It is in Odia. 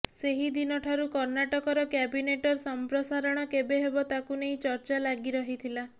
ସେହି ଦିନଠାରୁ କର୍ଣ୍ଣାଟକର କ୍ୟାବିନେଟର ସଂପ୍ରସାରଣ କେବେ ହେବ ତାକୁ ନେଇ ଚର୍ଚ୍ଚା ଲାଗି ରହିଥିଲା